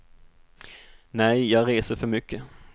Nej, jag reser för mycket.